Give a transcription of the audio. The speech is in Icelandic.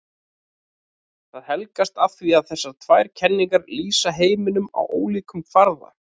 Það helgast af því að þessar tvær kenningar lýsa heiminum á ólíkum kvarða.